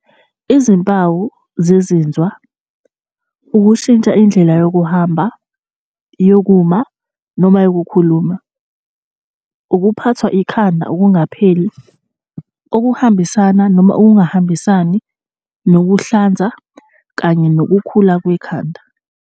N - Izimpawu zezinzwa, ukushintsha indlela yokuhamba, yokuma noma yokukhuluma, ukuphathwa ikhanda okungapheli okuhambisana noma okungahambisani nokuhlanza kanye nokukhula kwekhanda.